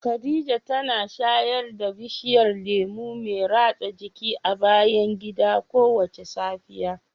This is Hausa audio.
Khadija tana shayar da bishiyar lemu mai ratsa jiki a bayan gida kowace safiya.